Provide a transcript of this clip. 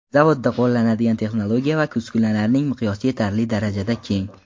Zavodda qo‘llanadigan texnologiya va uskunalarning miqyosi yetarli darajada keng.